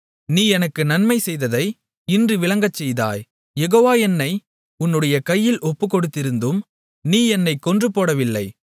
நீ எனக்கு நன்மை செய்ததை இன்று விளங்கச்செய்தாய் யெகோவா என்னை உன்னுடைய கையில் ஒப்புக்கொடுத்திருந்தும் நீ என்னைக் கொன்று போடவில்லை